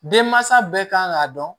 Denmansa bɛɛ kan k'a dɔn